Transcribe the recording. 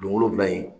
Don wolonfila in